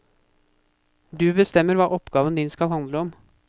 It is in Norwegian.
Du bestemmer hva oppgaven din skal handle om.